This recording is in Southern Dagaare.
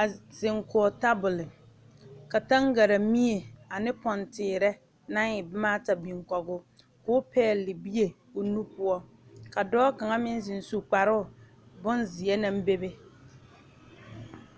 a zeŋ kɔge tabol kabtaŋgare mie ane kpoŋ teere na e boma ata biŋ kɔge o ko pɛgele bie o nu poɔ ka kaŋa meŋ zeŋ su kparoo bonzeɛ naŋ be be